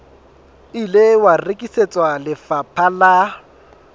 ile wa rekisetswa lefapha la